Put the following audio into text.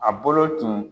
A bolo tun